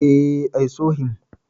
E, I saw him.